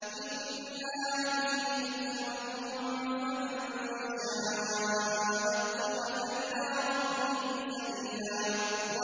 إِنَّ هَٰذِهِ تَذْكِرَةٌ ۖ فَمَن شَاءَ اتَّخَذَ إِلَىٰ رَبِّهِ سَبِيلًا